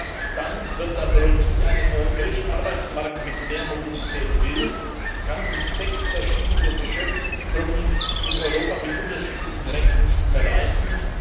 Erst dann wird das rund. Wer zukünftig einen europäischen Arbeitsmarkt mit mehr Mobilität will, kann sich sechs verschiedene Beschäftigtengruppen in Europa mit unterschiedlichen Rechten nicht mehr leisten.